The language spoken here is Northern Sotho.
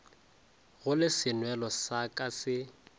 gole senwelo sa ka se